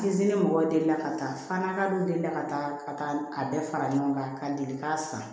mɔgɔw deli la ka taa fa nga dɔ delila ka taa ka taa a bɛɛ fara ɲɔgɔn kan ka deli k'a san